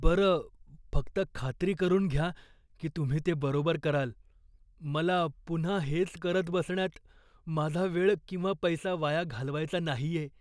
बरं, फक्त खात्री करून घ्या की तुम्ही ते बरोबर कराल. मला पुन्हा हेच करत बसण्यात माझा वेळ किंवा पैसा वाया घालवायचा नाहीये.